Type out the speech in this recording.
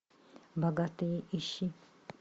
богатые ищи